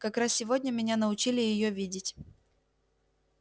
как раз сегодня меня научили её видеть